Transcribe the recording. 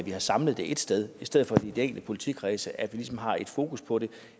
at vi har samlet det ét sted i stedet for i de enkelte politikredse altså at vi ligesom har et fokus på det